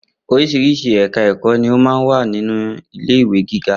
Oríṣiríṣi ẹ̀ka ẹ̀kọ́ ni ó máa ń wà nínú ilé ìwé giga